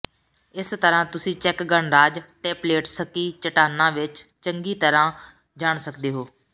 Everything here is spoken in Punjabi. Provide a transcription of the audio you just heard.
ਇਸ ਤਰ੍ਹਾਂ ਤੁਸੀਂ ਚੈੱਕ ਗਣਰਾਜ ਟੇਪਲੇਟਸਕੀ ਚੱਟਾਨਾਂ ਵਿਚ ਚੰਗੀ ਤਰ੍ਹਾਂ ਜਾਣ ਸਕਦੇ ਹੋ